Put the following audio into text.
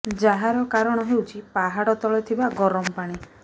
ଯାହାର କାରଣ ହେଉଛି ପାହାଡ ତଳେ ଥିବା ଗରମ ପାଣି